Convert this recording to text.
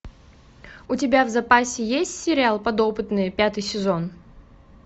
у тебя в запасе есть сериал подопытные пятый сезон